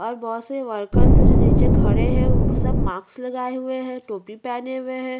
और बहोत सारे वर्कर जो नीचे खड़े है अ सब मास्क लगाए हुए है टोपी पहने हुए है।